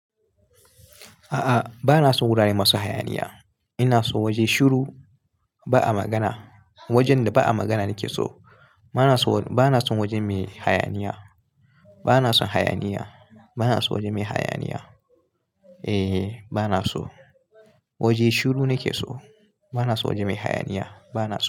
A'a, ba na son wurare masu hayaniya. Ina son waje shiru, ba'a magana. Wajen da ba'a magana nake so. Ba na son waje mai hayaniya. Ba na son hayaniya. Ba na son waje mai hayaniya. Eh, ba na so. Waje shiru nake so. Ba na so waje mai hayaniya. Ba na so.